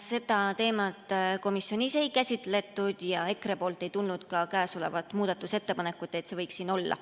Seda teemat komisjonis ei käsitletud ja EKRE‑lt ei tulnud ka muudatusettepanekut, et see võiks siin olla.